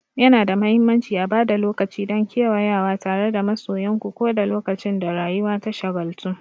Yana da mahimmanci a ba da lokaci don kewayawa tare da masoyanku, ko da lokacin da rayuwa ta shagaltu.